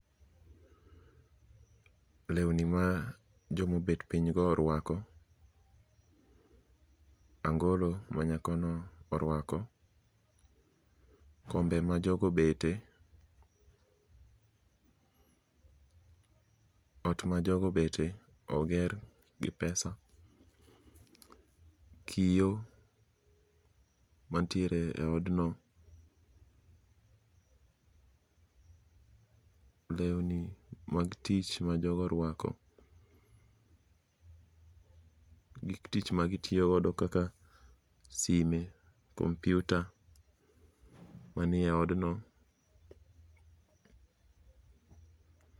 Lewni ma jomobet pinygo orwako, angolo ma nyakono orwako, kombe ma jogo obete, ot ma jogo obete oger gi pesa. Kio mantiere e odno, lewni mag tich ma jogo orwako, gik tich ma gitiyogodo kaka sime, kompyuta manie odno.